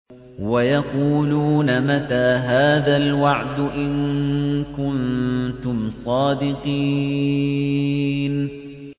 وَيَقُولُونَ مَتَىٰ هَٰذَا الْوَعْدُ إِن كُنتُمْ صَادِقِينَ